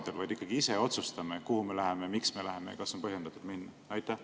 Me ikkagi ise peaksime saama otsustada, kuhu me läheme, miks me läheme ja kas on põhjendatud minna.